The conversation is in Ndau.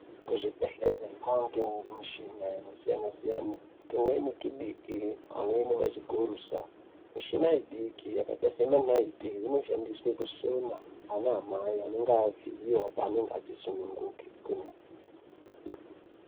Kuzvibhehlera kwane mishini yakasiyana siyana. Tumweni tudiki amweni mazigurusa. Mishina mudiki yakaita sema naiti inoshandiswa kusona ana mai anenge avhiyiwa paanenge achisununguka.